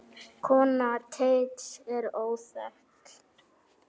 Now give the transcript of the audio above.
Kona Teits er óþekkt.